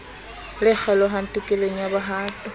le kgelohang tokelong ya bohato